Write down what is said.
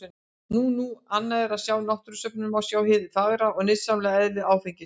Nú nú, annað er að á náttúrusöfnum má sjá hið fagra og nytsama eðli áfengisins.